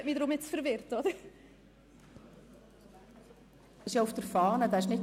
Dieser Antrag ist auf der Fahne vorhanden.